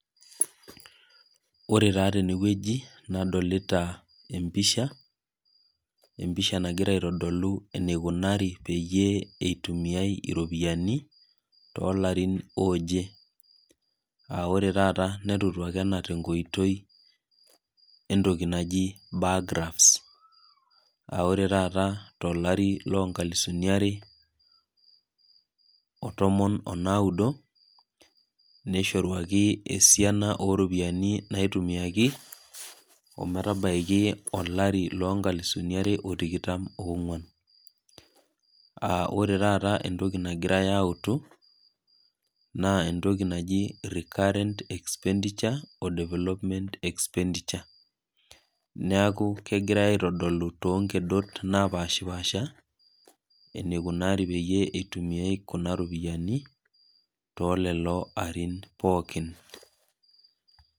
ore taa teneweji nadolita embisha nagira aitodolu enikunari peyie elaki iropiyiani too larin oje aa ore taa netoluaki ena tenkoitoi, entoki naji baagraft aare taa tolari loo inkalusini are otomon onaaudo nishoruaki esiana ooropiyiani naitumiyaki ometabaiki olari loo ikalusuni tikitam oo ng'uon aa ore taa entoki nagirai autu, naa entoki naji recurrent expenditure development expenditure, neeku kegirai aitodolu too inkedot naapaasha enikunari teneitumiyai kuna ropiyiani telelo arin pooki.